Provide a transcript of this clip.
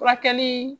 Furakɛli